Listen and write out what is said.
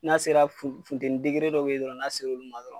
N'a sera funteni dɔ be yen dɔrɔn n'a sera olu ma dɔrɔn